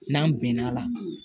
N'an bɛn n'a la